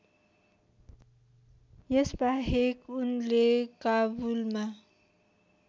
यसबाहेक उसले काबुलमा